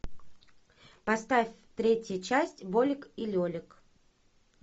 поставь третья часть болик и лелик